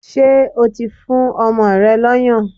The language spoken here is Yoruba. Ṣé o ti fún ọmọ rẹ lọ́yàn?